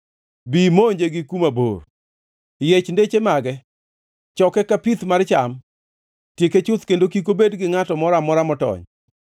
Bi imonje gi kuma bor. Yiech deche mage; choke ka pith mar cham. Tieke chuth, kendo kik obed gi ngʼato moro amora motony.